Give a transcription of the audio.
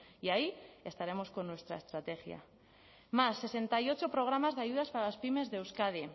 y ahí estaremos con nuestra estrategia más sesenta y ocho programas de ayudas para las pymes de euskadi